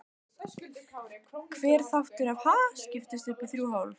Hver þáttur af Ha? skiptist upp í þrjú hólf.